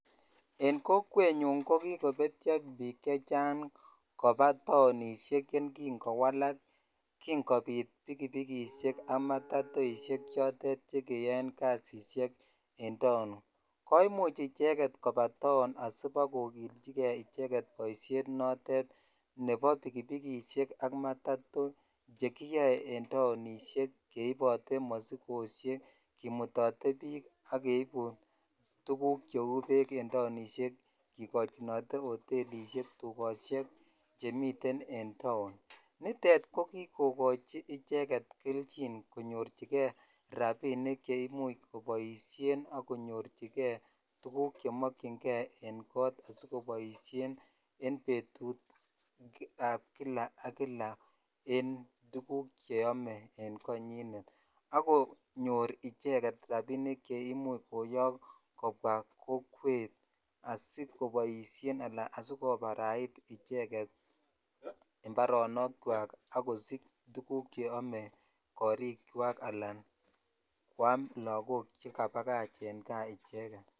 En kokwenyuny ko kikopetyo bik chechang koba townishek yekin kowalak kin kopit pikipikishek aka matatoishek chotet chekeyoe kasishek en town komuch icheket koba town asibokokiljigee icheket boishet notet nebo pikipikishek ak matato chekiyoe en townishek keibote mosikoshek kimutotet bik ak keibu tukuk cheu beek en townishek kikochinote hotelishek tukoshek chemiten en [vs]town nitet ko kikokochi icheket keljin konyorchigee rabinik cheimuch kiboishen ak konyorchigee tukuk chemokingee en kot asikoboishen en betutab Kila ak Kila en tukuk cheome en konyinet akonyor icheket rabinik cheimuch koyok kobwa kokwet asikopoishen ana asikobarait icheket imbaronok kwak ak kosich tukuk cheome korikwak ana kwam lokok chekabakach en gaa icheket.